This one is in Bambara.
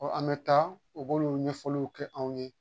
an bɛ taa u b'olu ɲɛfɔliw kɛ anw ye